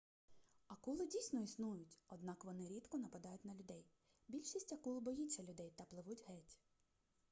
акули дійсно існують однак вони рідко нападають на людей більшість акул боїться людей та пливуть геть